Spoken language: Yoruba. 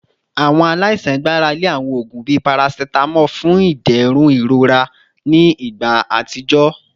Awọn alaisan gbarale awọn oogun bii paracetamol fun iderun irora ni igba atijọ